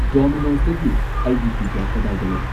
ꯗꯣꯃꯤꯅꯣꯁꯇꯒꯤ ꯑꯩꯒꯤ ꯄꯤꯖꯖꯥ ꯀꯗꯥꯏꯗ ꯂꯩ